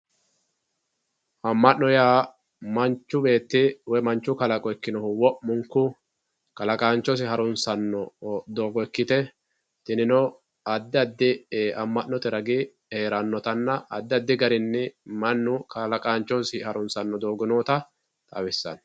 Amano ya manchu betti woyi manchu kalaqo ikinohu womunku kalaqanchosi doogo ikitte tinino adi adi amanote ragi heranotanna adi adi ragini manu kalaqanchosi harunsano doogo noota xawisano